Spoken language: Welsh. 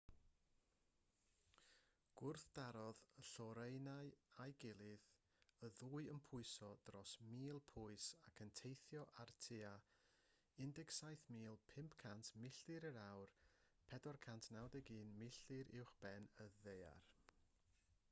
gwrthdarodd y lloerennau â'i gilydd y ddwy yn pwyso dros 1,000 pwys ac yn teithio ar tua 17,500 milltir yr awr 491 milltir uwchben y ddaear